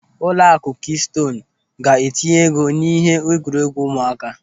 Ụlọakụ Kịstoonu ga-etinye ego n'ihe egwuregwu ụmụaka.